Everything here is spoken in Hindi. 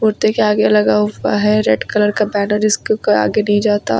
कुत्ते के आगे लगा हुआ है रेड कलर का बैनर जिसके आगे नहीं जाता।